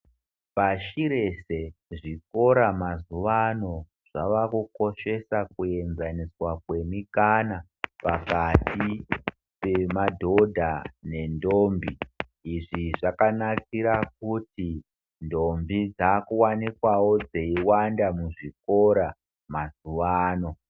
Pashi rese, zvikora mazuvano zvavakukoshesa kuenzaniswa kwemikana pakati pemadhodha nendombi. Izvi zvakanakira kuti ndombi dzaakuwanikwawo dzeiwanda muzvikora mazuvano.